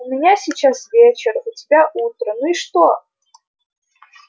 у меня сейчас вечер у тебя утро ну и что